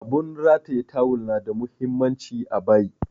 Abun rataya tawul na da muhimmanci a bayi